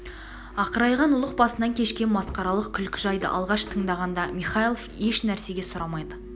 ақырайған ұлық басынан кешкен масқаралық күлкі жайды алғаш тыңдағанда михайлов еш нәрсені сұрамады